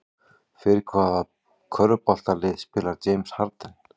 Fyrir hvaða körfuboltalið spilar James Harden?